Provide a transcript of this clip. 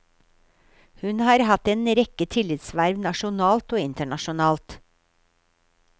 Hun har hatt en rekke tillitsverv nasjonalt og internasjonalt.